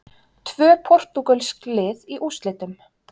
Tvö portúgölsk lið í úrslitum